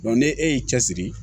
ni e y'i cɛsiri